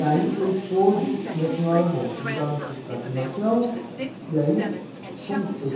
E aí o seu esposo e a senhora, bom, se mudaram para o para a climação, e aí, como que foi?